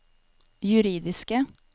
juridiske